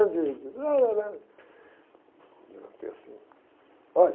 anos... Olha,